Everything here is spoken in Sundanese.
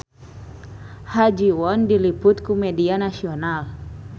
Ha Ji Won diliput ku media nasional